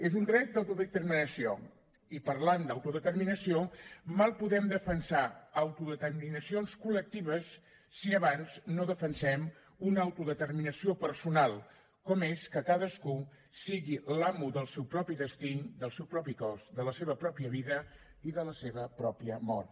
és un dret d’autodeterminació i parlant d’autodeterminació mal podem defensar autodeterminacions col·lectives si abans no defensem una autodeterminació personal com és que cadascú sigui l’amo del seu propi destí del seu propi cos de la seva pròpia vida i de la seva pròpia mort